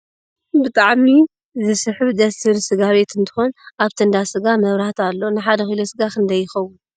ብጣዕሚ ዝስሕብ ደስ ዝብል ስጋ ቤት እንትኮን ኣብቲ እንዳ ስጋ መብራህቲ ኣሎ ። ን ሓደ ኪሎ ስጋ ክንደይ ይከውን ?